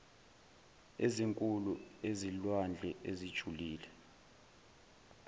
ezinkulu ezilwandle ezijulile